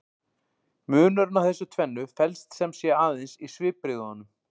Munurinn á þessu tvennu felst sem sé aðeins í svipbrigðunum.